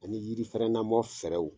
Ani yiri fɛrɛn na bɔ fɛɛrɛw